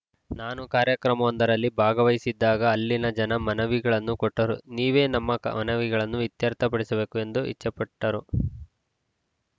ನಾನು ಕಾರ್ಯಕ್ರಮವೊಂದರಲ್ಲಿ ಭಾಗವಹಿಸಿದ್ದಾಗ ಅಲ್ಲಿನ ಜನ ಮನವಿಗಳನ್ನು ಕೊಟ್ಟರುನೀವೇ ನಮ್ಮ ಕ ಮನವಿಗಳನ್ನು ಇತ್ಯರ್ಥಪಡಿಸಬೇಕು ಎಂದು ಇಚ್ಛೆ ಪಟ್ಟರು